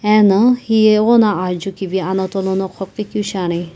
eno hiye ighono aa jukivi anato lono qhopikeu shiani.